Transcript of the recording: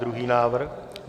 Druhý návrh.